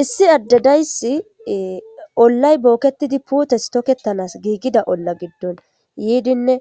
Issi addedayssi ollay booketidi puutes tokettanas giigida olla giddon yiidinne